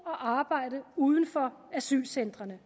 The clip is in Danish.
og arbejde uden for asylcentrene